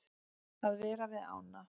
Að vera við ána.